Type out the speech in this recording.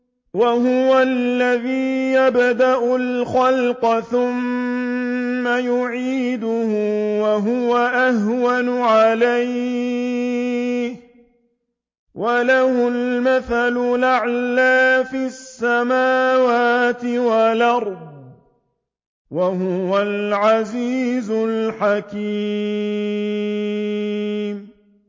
وَهُوَ الَّذِي يَبْدَأُ الْخَلْقَ ثُمَّ يُعِيدُهُ وَهُوَ أَهْوَنُ عَلَيْهِ ۚ وَلَهُ الْمَثَلُ الْأَعْلَىٰ فِي السَّمَاوَاتِ وَالْأَرْضِ ۚ وَهُوَ الْعَزِيزُ الْحَكِيمُ